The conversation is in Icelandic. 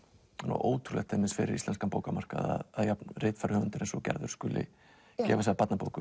ótrúlegt fyrir íslenskan bókamarkað að jafn ritfær höfundur og Gerður skuli gefa sig að barnabókum